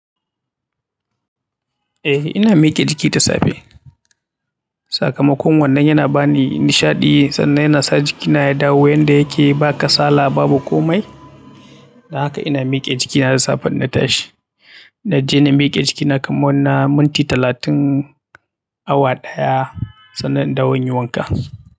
Eh ina miƙe jiki da safe. Sakamakon wannan yana bani nishaɗi sannan yana sa jikina ya dawo yanda yake ba kasala babu komai. Dan haka ina miƙe jiki har safe in na tashi. Naje na mike jikina kaman na minti talatin awa daya sannan indawo in yi wanka.